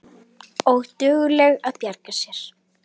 Og dugleg að bjarga sér.